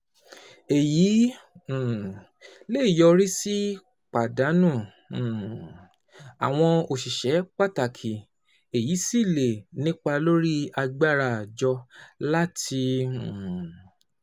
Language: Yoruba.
Èyí um lè yọrí sí pàdánù um àwọn òṣìṣẹ́ pàtàkì, èyí sì lè nípa lórí agbára àjọ láti um